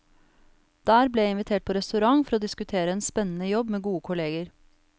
Der ble jeg invitert på restaurant for å diskutere en spennende jobb med gode kolleger.